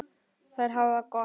Þær hafa það gott.